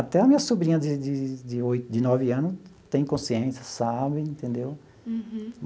Até a minha sobrinha de de de oito de nove ano tem consciência, sabe, entendeu?